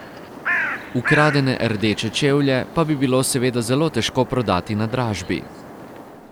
Ukradene rdeče čevlje pa bi bilo seveda zelo težko prodati na dražbi.